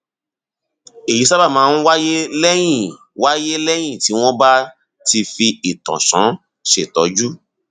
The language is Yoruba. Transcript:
èyí sábà máa ń wáyé lẹyìn wáyé lẹyìn tí wọn bá ti fi ìtànṣán ṣètọjú